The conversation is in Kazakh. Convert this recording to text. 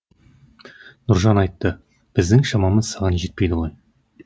нұржан айтты біздің шамамыз саған жетпейді ғой